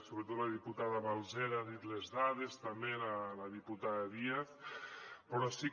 sobretot la diputada balsera ha dit les dades també la diputada díaz però sí que